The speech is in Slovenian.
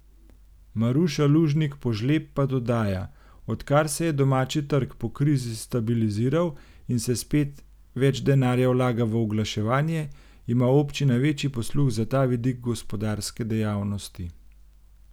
Maruša Lužnik Požlep pa dodaja: 'Odkar se je domači trg po krizi stabiliziral in se spet več denarja vlaga v oglaševanje, ima občina večji posluh za ta vidik gospodarske dejavnosti.